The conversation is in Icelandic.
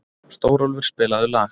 Stórólfur, spilaðu lag.